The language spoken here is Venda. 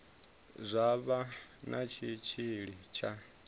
zwa vha na tshitshili tsha